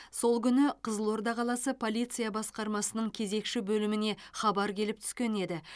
сол күні қызылорда қаласы полиция басқармасының кезекші бөліміне хабар келіп түскен еді